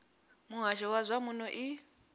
muhasho wa zwa muno i